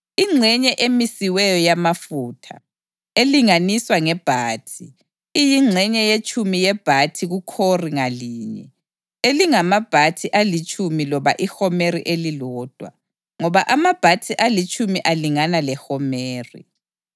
Ingxenye emisiweyo yamafutha, elinganiswa ngebhathi, iyingxenye yetshumi yebhathi kukhori ngalinye (elingamabhathi alitshumi loba ihomeri elilodwa, ngoba amabhathi alitshumi alingana lehomeri.)